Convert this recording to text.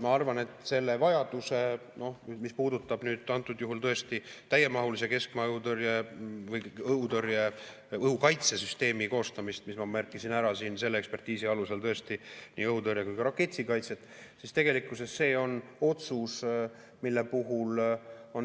Ma arvan, et mis puudutab antud juhul tõesti täiemahulise keskmaa õhutõrje või õhukaitsesüsteemi koostamist, mille vajaduse ma ekspertiisi alusel siin ära märkisin – ma pean tõesti silmas nii õhutõrjet kui ka raketikaitset –, siis see on otsus, mille puhul